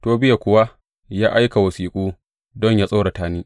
Tobiya kuwa ya aika wasiƙu don yă tsorata ni.